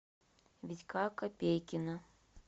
витька копейкина